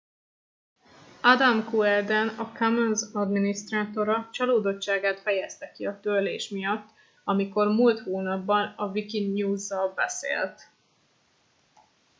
adam cuerden a commons adminisztrátora csalódottságát fejezte ki a törlés miatt amikor múlt hónapban a wikinews zal beszélt